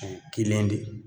O kelen de ye